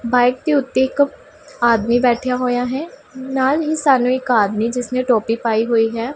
Bike ਦੇ ਓੱਤੇ ਇੱਕ ਆਦਮੀ ਬੈਠਿਆ ਹੋਏਆ ਹੈ ਨਾਲ ਹੀ ਸਾਨੂੰ ਇੱਕ ਆਦਮੀ ਜਿਸਨੇਂ ਟੋਪੀ ਪਾਈ ਹੋਈ ਹੈ।